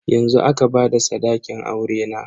Yanzu aka bada sadakin aurena.